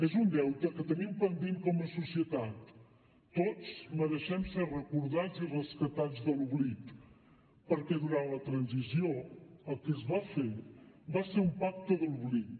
és un deute que tenim pendent com a societat tots mereixem ser recordats i rescatats de l’oblit perquè durant la transició el que es va fer va ser un pacte de l’oblit